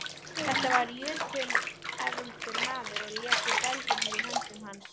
Þetta var jötunefldur maður og léku belgirnir í höndum hans.